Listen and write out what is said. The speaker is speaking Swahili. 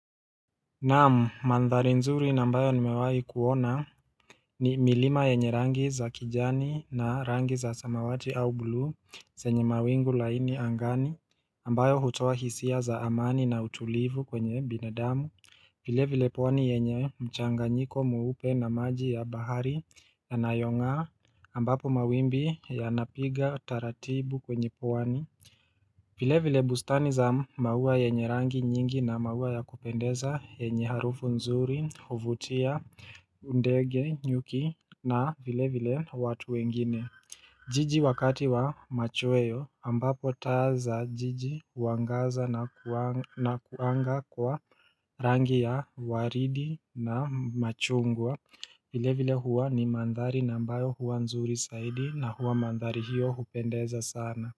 Naam mandhari nzuri nambayo nimewai kuona ni milima yenye rangi za kijani na rangi za samawati au buluu senye mawingu laini angani ambayo hutowa hisia za amani na utulivu kwenye binadamu file vile pwani yenye mchanganyiko muupe na maji ya bahari ya nayongaa ambapo mawimbi ya napiga taratibu kwenye pwani vile vile bustani za maua yenye rangi nyingi na maua ya kupendeza yenye harufu nzuri, huvutia, ndege, nyuki na vile vile watu wengine. Jiji wakati wa machoeyo ambapo taa za jiji uangaza na kuanga kwa rangi ya waridi na machungwa. Vile vile huwa ni mandhari na mbayo huwa nzuri saidi na huwa mandhari hiyo hupendeza sana.